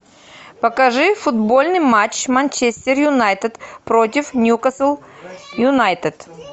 покажи футбольный матч манчестер юнайтед против ньюкасл юнайтед